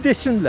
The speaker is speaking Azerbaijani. Desinlər.